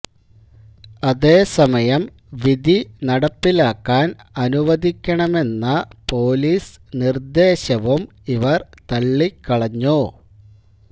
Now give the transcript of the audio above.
അതേസമയം വിധി നടപ്പിലാക്കാന് അനുവദിക്കണമെന്ന പോലീസ് നിര്ദ്ദേശവും ഇവര് തള്ളി കളഞ്ഞു